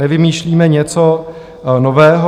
Nevymýšlíme něco nového.